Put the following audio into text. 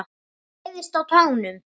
Læðast á tánum.